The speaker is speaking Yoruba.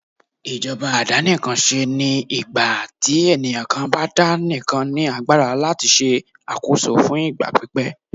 ìjọba àdàníkánsé ní ìgbàtí eniyan kan bá daníkán ní agbara latí ṣàkóso fún ìgbà pípẹ́.